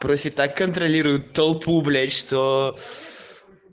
проще так контролировать толпу блять что